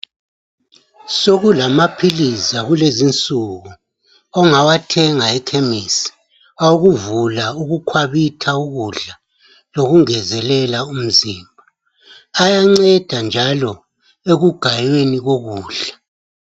Sokulamaphilizi akulezinsuku ongawathenga eKhemisi awokuvula ukukhwabitha ukudla lokungezelela umzimba ayanceda njalo ekugayeni kokudla.